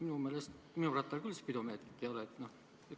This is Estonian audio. Minu meelest minu rattal küll spidomeetrit ei ole.